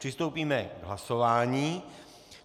Přistoupíme k hlasování.